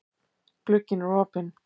Glugginn er opinn.